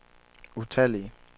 utallige